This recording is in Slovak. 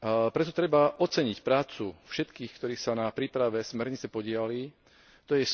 Preto treba oceniť prácu všetkých, ktorí sa na príprave smernice podieľali, t.